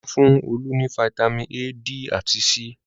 Wọ́n fún Olú ní fataímìn A, D àti C.